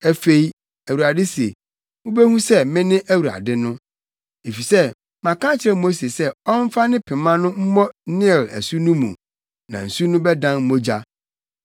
Afei, Awurade se: Wubehu sɛ mene Awurade no. Efisɛ maka akyerɛ Mose sɛ ɔmfa ne pema no mmɔ Nil asu no mu na nsu no bɛdan mogya.